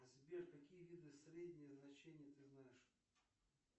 сбер какие виды среднее значение ты знаешь